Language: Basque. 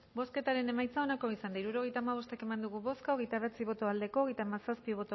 bozketaren emaitza onako izan da hirurogeita hamabost eman dugu bozka hogeita bederatzi boto aldekoa hogeita hamazazpi